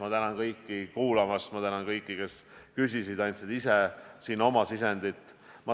Ma tänan kõiki kuulamast, ma tänan kõiki, kes küsisid, andsid ise siin oma sisendit.